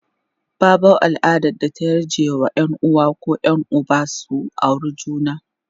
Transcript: babau al'adar da ta yarje wa Yan uwa koh Yan Uba su aure juna